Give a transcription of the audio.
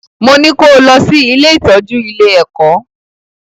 Mo ní kó o lọ sí ilé-ìtọ́jú ile-ẹ̀kọ́!